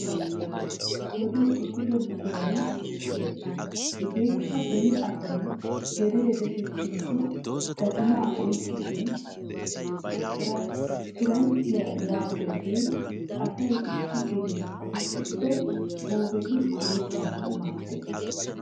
Wodee ehido buquray beettes. Hegeekka beni asay gedee deshettikko gatimaa oyikkesishin kiranchchiya yaagiyoge asay issi gedee qohettikko guufeti hemettanawu maaddes.